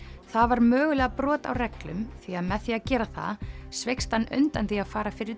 það var mögulega brot á reglum því að með því að gera það sveikst hann undan því að fara fyrir